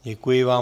Děkuji vám.